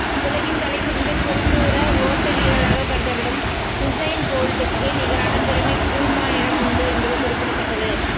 உலகின் தலை சிறந்த குறுந்தூர ஓட்ட வீரராகக் கருதப்படும் ஹூசெய்ன் போல்டுக்கு நிகரான திறமை கூல்மானிடம் உண்டு என்பது குறிப்பிடத்தக்கது